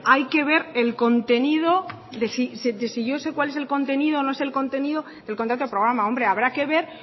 hay que ver el contenido de si yo sé cuál es contenido o no sé el contenido del contrato programa hombre habrá que ver